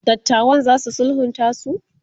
dattawan zasu sulhunta su?